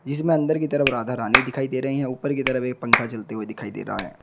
इसमें अंदर की तरफ राधा रानी दिखाई दे रही हैं ऊपर की तरफ एक पंखा चलते हुए दिखाई दे रहा है।